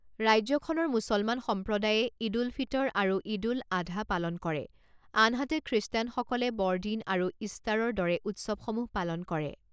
ৰাজ্যখনৰ মুছলমান সম্প্ৰদায়ে ঈদ উল ফিতৰ আৰু ঈদ উল আধা পালন কৰে আনহাতে খ্ৰীষ্টানসকলে বৰদিন আৰু ঈষ্টাৰৰ দৰে উৎসৱসমূহ পালন কৰে।